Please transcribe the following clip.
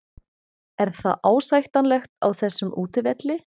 Er það ásættanlegt á þessum útivelli?